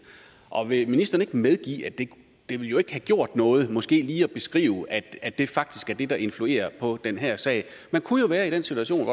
og vil ministeren ikke medgive at det jo ikke ville have gjort noget måske lige at beskrive at det faktisk er det der influerer på den her sag man kunne jo være i den situation at